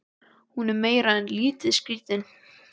Hún er meira en lítið skrítin.